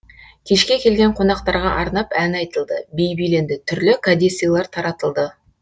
кешке келген қонақтарға арнап ән айтылды би биленді түрлі кәде сыйлар таратылды